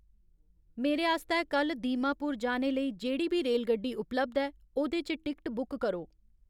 मेरे आस्तै कल्ल दीमापुर जाने लेई जेह्ड़ी बी रेलगड्डी उपलब्ध ऐ, ओह्दे च टिकट बुक करो